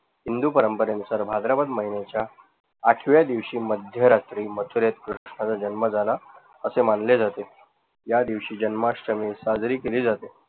हिंदू परंपरेनुसार भाद्रपद महिन्याच्या आठव्या दिवशी मध्य रात्री कृष्णाचा जन्म झाला असे मानले जाते, त्या दिवशी जन्माष्टमी साजरी केली जाते.